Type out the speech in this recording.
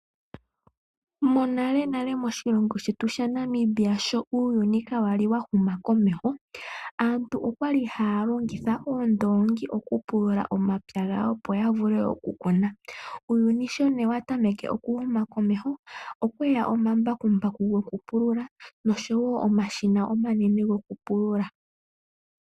Monalenale moshilongo shetu shaNamibia sho uuyuni kaa wali wa huma komeho, aantu okwali haya longitha uundoongi oku pulula omapya gawo opo ya vule oku kuna. Uuyuni nee sho wa tameke okuhuma komeho opweya omambakumbaku gokupulula nosho wo omashina omanene gokupulula.